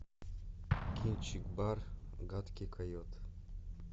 кинчик бар гадкий койот